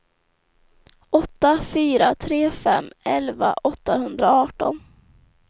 åtta fyra tre fem elva åttahundraarton